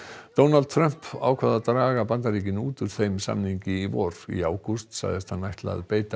Donald Trump ákvað að draga Bandaríkin út úr þeim samningi í vor í ágúst sagðist hann ætla að beita